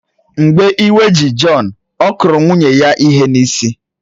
Mgbe iwe ji Jọn, ọ kụrụ nwunye ya ihe n’isi